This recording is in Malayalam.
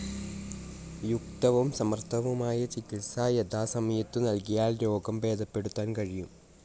യുക്തവും സമർഥവുമായ ചികിത്സ യഥാസമയത്തു നൽകിയാൽ രോഗം ഭേദപ്പെടുത്താൻ കഴിയും.